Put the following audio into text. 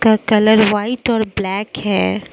का colour white और black है।